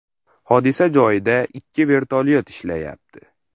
Hodisa joyida ikki vertolyot ishlayapti.